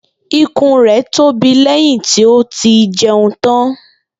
Ikùn rẹ̀ tóbi lẹ́yìn tí ó ti jẹun tán